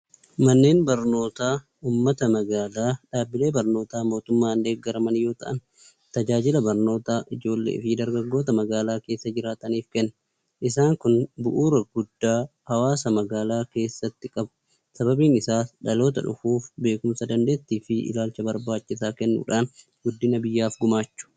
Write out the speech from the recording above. Manneen barnootaa uummata magaalaa, dhaabbilee barnootaa mootummaan deeggaraman yoo ta'an, tajaajila barnootaa ijoollee fi dargaggoota magaalaa keessa jiraataniif kenna. Isaan kun bu'uura guddaa hawaasa magaalaa keessatti qabu. Sababiin isaas dhaloota dhufuuf beekumsa, dandeettii fi ilaalcha barbaachisaa kennuudhaan guddina biyyaaf gumaachu.